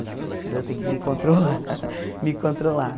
Às vezes, eu tenho que me controlar, me controlar.